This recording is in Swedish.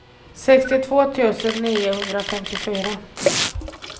sextiotvå tusen niohundrafemtiofyra